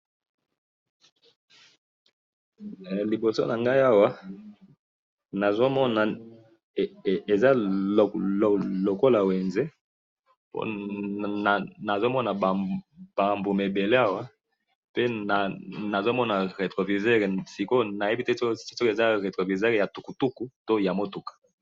liboso na ngai awa, nazo mona eza lokola wenze, po nazo mona ba mbuma ebele awa, pe nazo mona retro-viseur, sikoyo nayebi te soki eza retro-viseur ya tukutuku to motuka